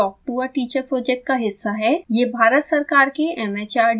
spoken tutorial project talk to a teacher project का हिस्सा है